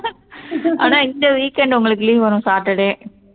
ஆனா இந்த weekend உங்களுக்கு leave வரும் saturday ஹம்